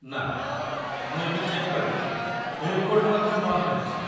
ନା, ମୁଁ ଏବେ ଚେକ୍ କଲି, ଫୁଡ଼ କୋର୍ଟ ମଧ୍ୟ ବନ୍ଦ ରହିଛି।